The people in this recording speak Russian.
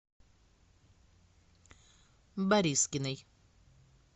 борискиной